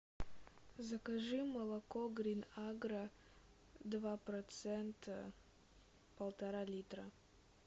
закажи молоко грин агро два процента полтора литра